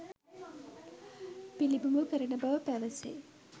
පිළිබිඹු කරවන බව පැවසේ.